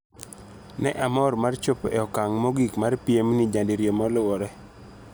"Ne amor mar chopo e okang' mogik mar piemni nyadiriyo moluore."